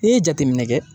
N'i ye jateminɛ kɛ